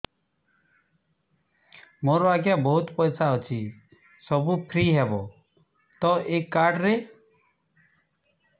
ମୋର ଆଜ୍ଞା ବହୁତ ପଇସା ଅଛି ସବୁ ଫ୍ରି ହବ ତ ଏ କାର୍ଡ ରେ